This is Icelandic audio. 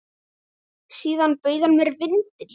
Síðan bauð hann mér vindil.